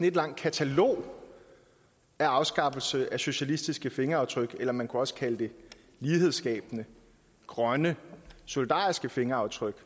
ét langt katalog af afskaffelser af socialistiske fingeraftryk eller man kunne også kalde det lighedsskabende grønne solidariske fingeraftryk